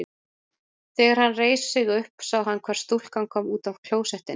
Þegar hann reisti sig upp sá hann hvar stúlkan kom útaf klósettinu.